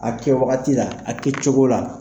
A kɛ waagati la, a kɛ cogo la.